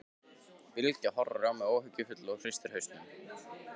Bylgja horfir á mig áhyggjufull og hristir hausinn.